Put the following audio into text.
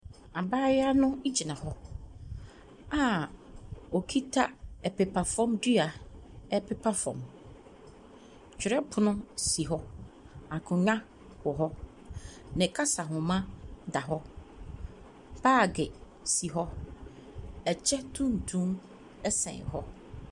Abaayewa no gyiina hɔ a ɔkita mpepafam dua repepa fam. Twerɛpono si hɔ. Akonnwa wɔ hɔ. Ne kasanoma da hɔ. Baage si hɔ. Ɛkyɛ tuntum sɛn hɔ.